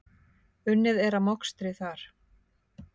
Unnið er að mokstri þar.